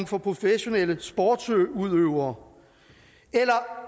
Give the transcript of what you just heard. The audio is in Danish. for professionelle sportsudøvere